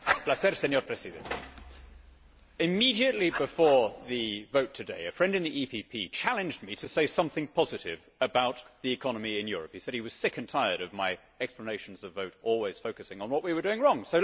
Mr President, immediately before the vote today a friend in the EPP challenged me to say something positive about the economy in Europe. He said he was sick and tired of my explanations of vote always focusing on what we were doing wrong.